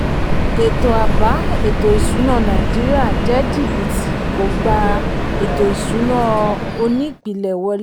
ètò àbá ètò ìṣúná nàìjíríà jẹ́ jìbìtì kò gbà ètò ìṣúná onípìlẹ̀ wọlé.